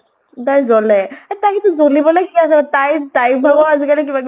তাই জ্বলে । য়ে তাই কিন্তু জ্বলিবলৈ কি আছে । তাই, তাই ভাগৰো আজিকালি কিবা কিবি